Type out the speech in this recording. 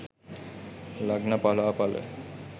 lagna pala pala